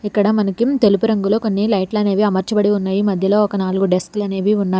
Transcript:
ఇక్కడ మనకి తెలుపు రంగులో కొన్ని లైట్లు అనేవి అమర్చాబడి ఉన్నాయి మధ్యలో ఒక నాలుగు డెస్క్ లానేవి ఉన్నాయి.